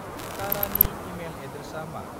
तारानि email एद्रेसा मा?